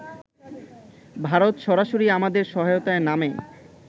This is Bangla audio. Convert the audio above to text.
ভারত সরাসরি আমাদের সহায়তায় নামে